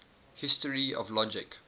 history of logic